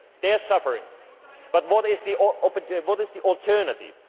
single day. They are suffering. But what is